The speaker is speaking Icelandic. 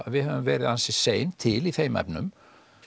við höfum verið ansi sein til í þeim efnum